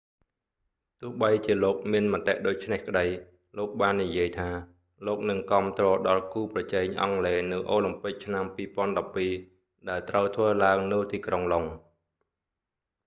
ទោះបីជាលោកមានមតិដូច្នេះក្តី លោកបាននិយាយថាលោកនឹងគាំទ្រដល់គូប្រជែងអង់គ្លេសនៅអូឡាំពិកឆ្នាំ 2012 ដែលត្រូវធ្វើឡើងនៅទីក្រុងឡុង